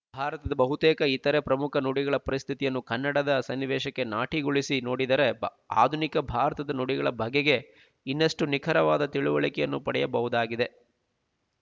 ಭಾರತದ ಬಹುತೇಕ ಇತರೆ ಪ್ರಮುಖ ನುಡಿಗಳ ಪರಸ್ಥಿತಿಯನ್ನು ಕನ್ನಡದ ಸನ್ನಿವೇಶಕ್ಕೆ ಸಾಟಿಗೊಳಿಸಿ ನೋಡಿದರೆ ಆಧುನಿಕ ಭಾರತದ ನುಡಿಗಳ ಬಗೆಗೆ ಇನ್ನಷ್ಟು ನಿಖರವಾದ ತಿಳುವಳಿಕೆಯನ್ನು ಪಡೆಯಬಹುದಾಗಿದೆ